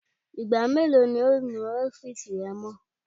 Igba melo ni o nu ọfiisi rẹ mọ?